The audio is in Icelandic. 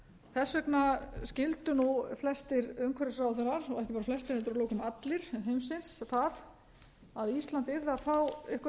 þess vegna skyldu nú flestir umhverfisráðherrar og ekki bara flestir heldur að lokum allir heimsins þar að ísland yrðu að fá